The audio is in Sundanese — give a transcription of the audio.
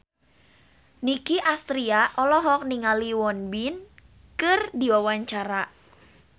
Nicky Astria olohok ningali Won Bin keur diwawancara